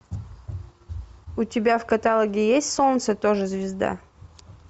у тебя в каталоге есть солнце тоже звезда